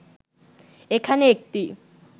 এখানে একটি